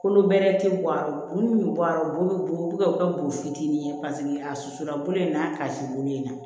Kolo bɛrɛ tɛ bɔ a bulu min bɛ bɔ a la u bolo bɛ bɔ u bɛ ka u kɛ bo fitinin ye a susu la bolo in n'a ka sibo yen na